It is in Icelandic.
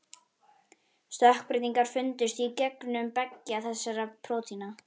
Stökkbreytingar fundust í genum beggja þessara prótína.